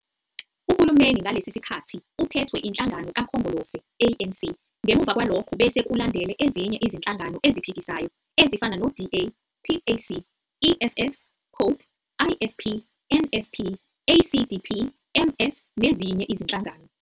Uhulumeni ngalesi sikhathi uphethwe inhlangano kakhongolose, ANC, ngemva kwalokho bese kulandele ezinye izinhlangano eziphikisayo ezifana no-DA, PAC, EFF, Cope, IFP, NFP, ACDP, MF, nezinye izinhlangano.